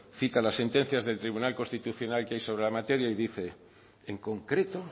cita las sentencias del tribunal constitucional que hay sobre la materia y dice en concreto